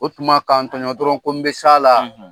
O tuma k'an tɔɲɔ dɔrɔn ko n bɛ s'a la.